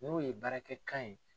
N'o ye baarakɛ kan ye.